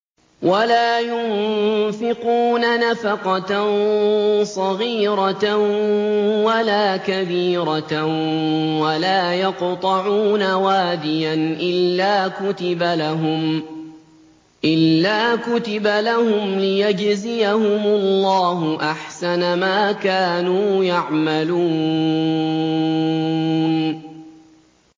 وَلَا يُنفِقُونَ نَفَقَةً صَغِيرَةً وَلَا كَبِيرَةً وَلَا يَقْطَعُونَ وَادِيًا إِلَّا كُتِبَ لَهُمْ لِيَجْزِيَهُمُ اللَّهُ أَحْسَنَ مَا كَانُوا يَعْمَلُونَ